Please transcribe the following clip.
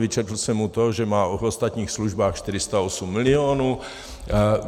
Vyčetl jsem mu to, že má od (?) ostatních službách 408 milionů.